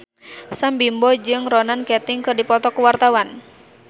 Sam Bimbo jeung Ronan Keating keur dipoto ku wartawan